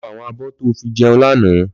Lò fó áwòn ábò tó fi jèún làná